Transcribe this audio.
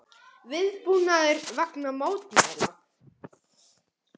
Viðbúnaður vegna mótmæla